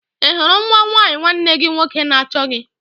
Ị hụrụ nwa nwanyị nwanne gị nwoke na-achọ gị?